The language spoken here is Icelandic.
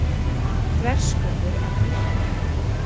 Þverskurður af nýrnahettu.